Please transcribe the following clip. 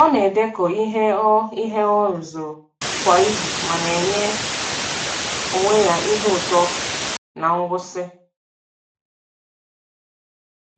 Ọ na-edekọ ihe ọ ihe ọ rụzuru kwa izu ma na-enye onwe ya ihe ụtọ na ngwụsị.